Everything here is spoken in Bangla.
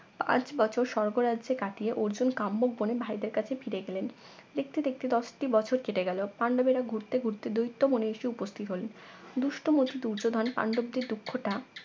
পাঁচবছর স্বর্গরাজ্যে কাটিয়ে অর্জুন কাম্মুক বনে ভাইদের কাছে ফিরে গেলেন দেখতে দেখতে দশটি বছর কেটে গেল পান্ডবেরা ঘুরতে ঘুরতে দৈত্য বনে এসে উপস্থিত হলেন দুষ্ট মন দুর্যোধন পান্ডবদের দুঃক্ষ টা